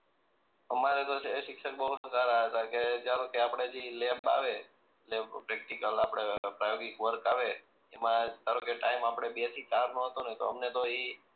અમારે તો શિક્ષક બહું સારા હતા કે ચાલો કે આપણે જી લેબ આવે લેબ પ્રેક્ટીકલ આપણે પ્રાયોગિક વર્ક આવે એમાં ધારો કે ટાઇમ આપણે બે થી ચાર નો હતો ને તો અમને તો ઈ